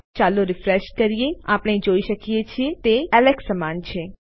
તો ચાલો રીફ્રેશ કરીએ આપણે જોઈ શકીએ છીએ કે તે એલેક્સ સમાન છે